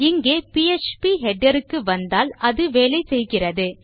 இங்கே பீடர் க்கு வந்தால் அது வேலை செய்கிறது